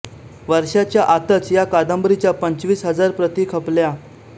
वर्षाच्या आतच या कादंबरीच्या पंचवीस हजार प्रती खपल्या